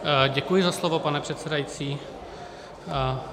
Děkuji za slovo, pane předsedající.